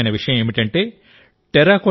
ఆశ్చర్యకరమైన విషయం ఏంటంటే